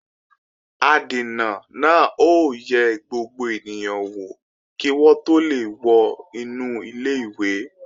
Adènà náà ó yẹ gbogbo ènìyàn wò kí wọ́n tó lè wọ inú ilé-ìwé